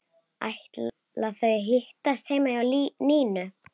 Ætla þau að hittast heima hjá Nínu?